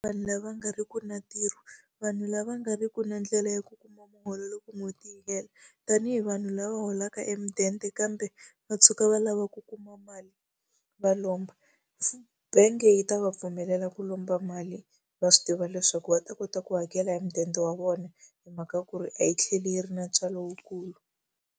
Vanhu lava nga ri ki na ntirho, vanhu lava nga ri ki na ndlela ya ku kuma muholo loko n'hweti yi hela. Tanihi vanhu lava holaka emudende kambe va tshuka va lava ku kuma mali va lomba. Bank-e yi ta va pfumelela ku lomba mali va swi tiva leswaku va ta kota ku hakela hi mudende wa vona hi mhaka ku ri a yi tlheli yi ri na ntswalo lowukulu.